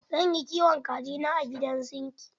Zan yi kiwon kaji na a gidan zingi.